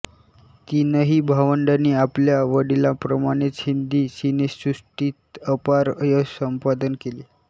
तीनही भावंडांनी आपल्या वडिलांप्रमाणेच हिंदी सिनेसृष्टीत अपार यश संपादन केले